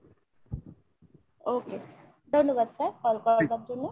okay ধন্যবাদ sir call করার জন্য।